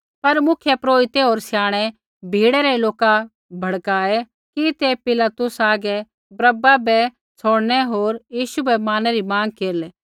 पर मुख्यपुरोहिते होर स्याणै भीड़ै रै लोका बहकाऐ कि ते पिलातुसा हागै बरअब्बा बै छ़ौड़नै होर यीशु बै मारनै री माँग केरलै